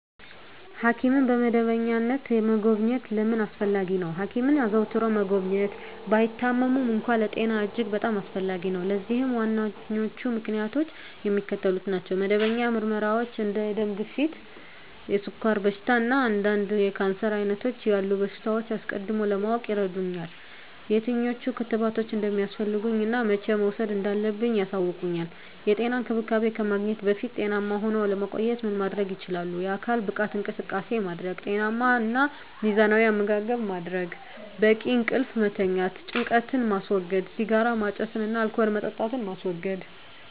ሐኪምን በመደበኛነት መጎብኘት ለምን አስፈለጊ ነው? ሐኪምን አዘውትሮ መጎብኘት፣ ባይታመሙም እንኳ፣ ለጤና እጅግ በጣም አስፈላጊ ነው። ለዚህም ዋነኞቹ ምክንያቶች የሚከተሉት ናቸው። መደበኛ ምርመራዎች እንደ የደም ግፊት፣ የስኳር በሽታ፣ እና አንዳንድ የካንሰር ዓይነቶች ያሉ በሽታዎችን አስቀድሞ ለማወቅ ይረዱኛል። የትኞቹ ክትባቶች እንደሚያስፈልጉኝ እና መቼ መውሰድ እንዳለብኝ ያሳውቁኛል። *የጤና እንክብካቤ ከማግኘትዎ በፊት ጤናማ ሁነው ለመቆየት ምን ማድረግ ይችላሉ?*የአካል ብቃት እንቅስቃሴ ማድረግ * ጤናማ እና ሚዛናዊ አመጋገብ ማድረግ: * በቂ እንቅልፍ መተኛት * ጭንቀትን ማስወገድ * ሲጋራ ማጨስን እና አልኮል መጠጣትን ማስወገድ: